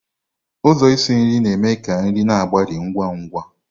Ụzọ isi nri na-eme ka nri na-agbari ngwa ngwa.